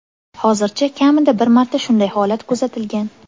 Hozircha kamida bir marta shunday holat kuzatilgan.